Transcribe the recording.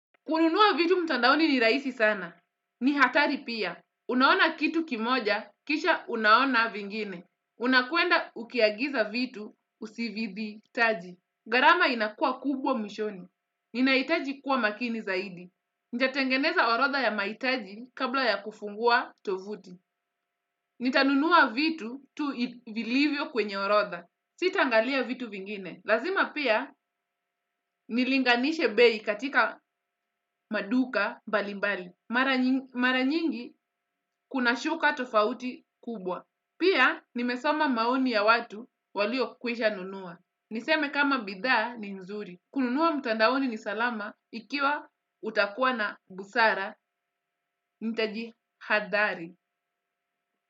Kununua vitu mtandaoni ni raisi sana. Ni hatari pia. Unaona kitu kimoja, kisha unaona vingine. Unakwenda ukiagiza vitu usivibitaji. Gharama inakua kubwa mwishoni. Ninaitaji kuwa makini zaidi. Ntatengeneza orotha ya maitaji kabla ya kufungua tovuti. Nitanunua vitu tu vilivyo kwenye orodha. Sitaangalia vitu vingine. Lazima pia nilinganishe bei katika maduka mbalimbali. Mara nyingi kuna shuka tofauti kubwa. Pia nimesoma maoni ya watu waliokwisha nunua. Niseme kama bidhaa ni mzuri. Kununua mtandaoni ni salama ikiwa utakuwa na busara nitajihadhari.